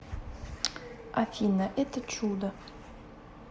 афина это чудо